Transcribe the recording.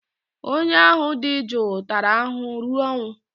onye ahụ dị jụụ tara ahụhụ ruo ọnwụ